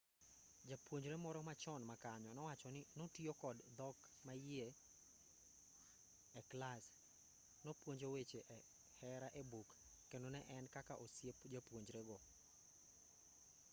japuonjre moro machon makanyo nowacho ni 'notiyo kod dhok maiye e clas nopunjo weche hera e buk kendo ne en kaka osiep jopunjrego'